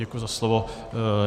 Děkuji za slovo.